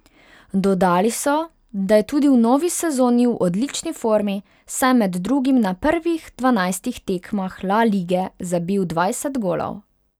Dodali so, da je tudi v novi sezoni v odlični formi, saj je med drugim na prvih dvanajstih tekmah La lige zabil dvajset golov.